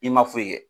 I ma foyi kɛ